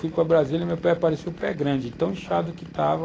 Eu fui para Brasília e meu pé parecia o pé grande de tão inchado que estava.